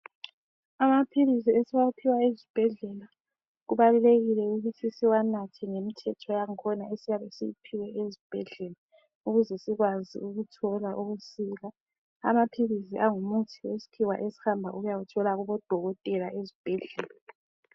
Amaphilisi esiwaphiwa ezibhedlela kubalulekile ukuthi siwanathe ngemithetho yangkhona esiyabe siyiphiwe ezibhedlela ukuze sikwazi ukuthola ukusila. Amaphilisi angumuthi wesikhiwa esihamba ukuyawuthola kubodokotela ezibhedlela.